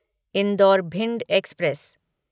indoor Bhind express